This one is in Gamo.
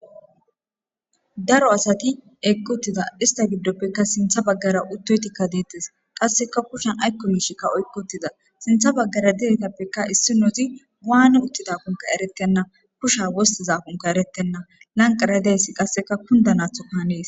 daro asati eggttida ista giddoppekka sintha baggara uttoytikka deettes qasseka kushan aykko miishikka oykkotida sintha baggara didetappekka issi nozi waane uttidapunka erettenna kusha wostizakonkka erettenna lanqaradeessi qasseka kunda naatho kanees